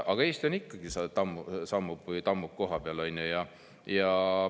Aga Eesti ikkagi sammub või tammub kohapeal, on ju.